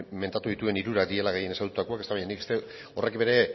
mentatu dituen hirurak direla gehien ezagututakoak baina horrek bere